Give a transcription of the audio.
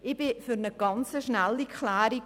Ich bin für eine ganz rasche Klärung.